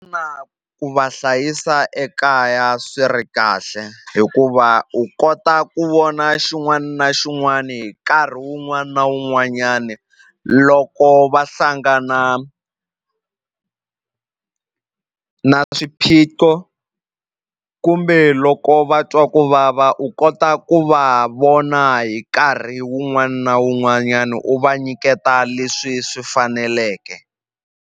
ku va hlayisa ekaya swi ri kahle hikuva u kota ku vona xin'wana na xin'wana hi nkarhi wun'wana na wun'wanyana loko va hlangana na swiphiqo kumbe loko va twa ku vava u kota ku va vona hi nkarhi wun'wana na wun'wanyana u va nyiketa leswi swi faneleke.